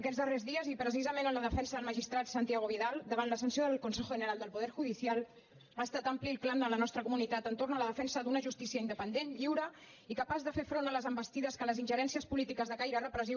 aquests darrers dies i precisament en la defensa del magistrat santiago vidal davant la sanció del consejo general del poder judicial ha estat ampli el clam de la nostra comunitat entorn de la defensa d’una justícia independent lliure i capaç de fer front a les envestides que les ingerències polítiques de caire repressiu